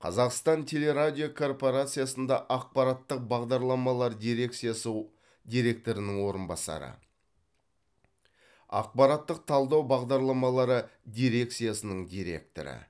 қазақстан теле радио корпорациясында ақпараттық бағдарламалар дирекциясы директорының орынбасары ақпараттық талдау бағдарламалары дирекциясының директоры